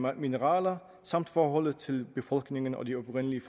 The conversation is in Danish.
af mineraler samt forholdet til befolkningen og de oprindelige